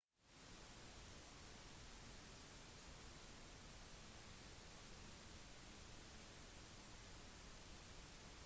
folk slo i rutene med stoler men det var umulig å knuse vinduene